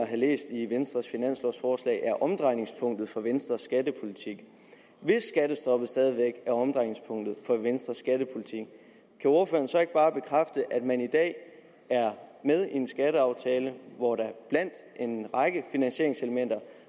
have læst i venstres finanslovforslag at er omdrejningspunktet for venstres skattepolitik hvis skattestoppet stadig væk er omdrejningspunktet for venstres skattepolitik kan ordføreren så ikke bare bekræfte at man i dag er med i en skatteaftale hvor der blandt en række finansieringselementer